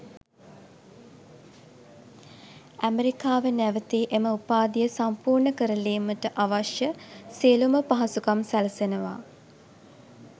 ඇමරිකාවේ නැවතී එම උපාධිය සම්පූර්ණ කරලීමට අවශ්‍ය සියළුම පහසුකම් සැලසෙනවා.